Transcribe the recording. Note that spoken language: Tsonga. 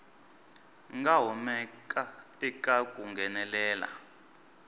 nga humaka eka ku nghenelela